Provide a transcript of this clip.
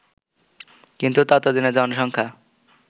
কিন্তু ততদিনে জনসংখ্যা